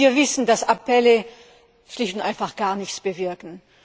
Denn wir wissen, dass Appelle schlicht und einfach gar nichts bewirken.